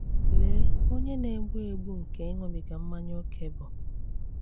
Lee ọnyà na-egbu egbu nke ịṅụbiga mmanya ókè bụ!